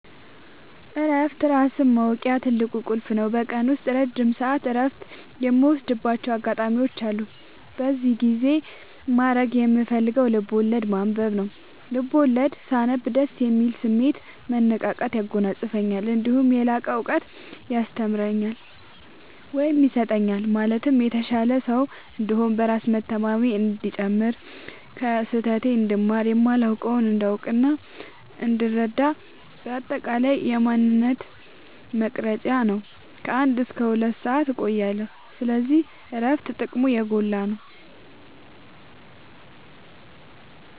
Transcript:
እረፍት ራስን ማወቂያ ትልቁ ቁልፍ ነው። በቀን ውስጥ ረጅም ሰዓት እረፍት የምወስድባቸው አጋጣዎች አሉ። በዚህ ጊዜ ማድረግ የምፈልገው ልብዐወለድ ማንበብ ነው፤ ልቦለድ ሳነብ ደስ የሚል ስሜት፣ መነቃቃት ያጎናፅፈኛል። እነዲሁም የላቀ እውቀት ያስተምረኛል ወይም ይሰጠኛል ማለትም የተሻለ ሰው እንድሆን፣ በራስ መተማመኔ እንዲጨምር፣ ከስህተቴ እንድማር፣ የማላውቀውን እንዳውቅናእንድረዳ በአጠቃላይ የማንነቴ መቅረጽያ ነው። ከ አንድ እስከ ሁለት ሰአት እቆያለሁ። ስለዚህ እረፍት ጥቅሙ የጎላ ነው።